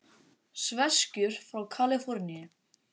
Sveskjur frá Kaliforníu.